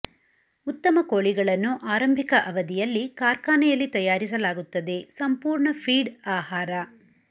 ಉತ್ತಮ ಕೋಳಿಗಳನ್ನು ಆರಂಭಿಕ ಅವಧಿಯಲ್ಲಿ ಕಾರ್ಖಾನೆಯಲ್ಲಿ ತಯಾರಿಸಲಾಗುತ್ತದೆ ಸಂಪೂರ್ಣ ಫೀಡ್ ಆಹಾರ